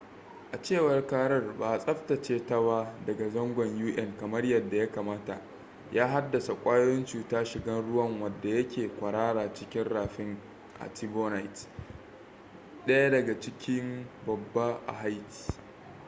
a cewar karar ba a tsaftace bata daga zangon un kamar yadda ya kamata ba ya haddasa kwayoyin cuta shigan ruwa wadda yake kwarara cikin rafin artibonite daya daga ciki babba a haiti